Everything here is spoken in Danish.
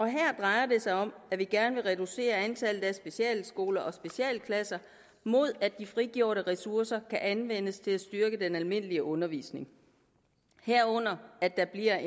her drejer det sig om at vi gerne vil reducere antallet af specialskoler og specialklasser mod at de frigjorte ressourcer kan anvendes til at styrke den almindelige undervisning herunder at der bliver